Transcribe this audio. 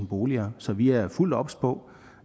boliger så vi er fuldt obs på